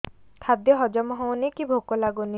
ଖାଦ୍ୟ ହଜମ ହଉନି କି ଭୋକ ଲାଗୁନି